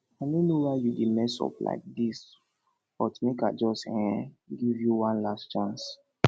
i no know why you dey mess up like dis but make i just um give you one last chance